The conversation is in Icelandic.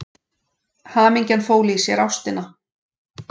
Hamingjan fól í sér ástina.